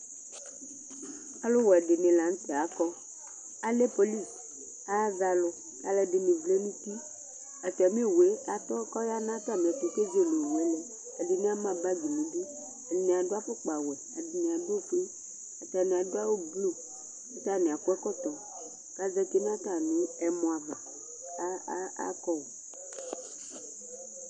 Aluwɛ ɖìŋí la ŋtɛ akɔ Alɛ police, azɛ alu Alʋɛdìní vlɛ ŋu ʋti Atami owue atɔ kʋ ɔya ŋu atami ɛtu kʋ ezele owue lɛ Ɛɖìní ama bag ŋu iɖʋ Ɛɖìní aɖu afʋkpa wɛ Ɛɖìní aɖu ɔƒʋe Ataŋi aɖu awu bleu kʋ ataŋi akɔ ɛkɔtɔ kʋ azɛti ŋu atami ɛmɔ ava kʋ akɔ o